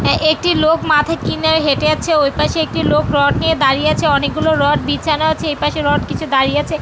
হ্যাঁ একটি লোক মাথায় কি নিয়ে হেটে যাচ্ছে। ওই পাশে একটি লোক রড নিয়ে দাঁড়িয়ে আছে। অনেক গুলো রড বিছানো আছে। এ পাশে রড কিছু দাঁই আছে।